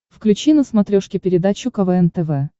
включи на смотрешке передачу квн тв